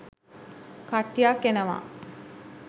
කට්ටියක් එනවා.